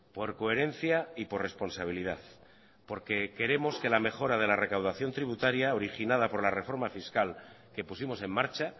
por coherencia y por responsabilidad porque queremos que la mejora de la recaudación tributaria originada por la reforma fiscal que pusimos en marcha